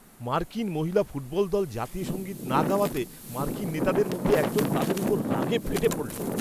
মার্কিন মহিলা ফুটবল দল জাতীয় সঙ্গীত না গাওয়াতে মার্কিন নেতাদের মধ্যে একজন তাদের ওপর রাগে ফেটে পড়ল।